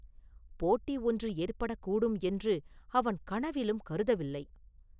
போட்டி ஒன்று ஏற்படக் கூடும் என்று அவன் கனவிலும் கருதவில்லை.